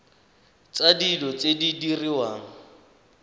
tsa dilo tse di diriwang